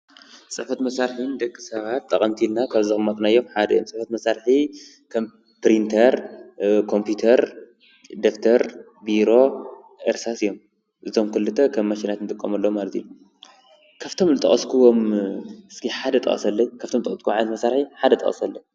ፅሕፈት መሳርሒ ንደቂ ሰባት ጠቀምቲ እዮም ካብኣቶም ወረቀት፣ ቢሮ፣ ፕሪንተር ወዘተ።